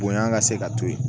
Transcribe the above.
Bonya ka se ka to yen